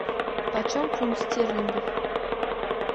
почем фунт стерлингов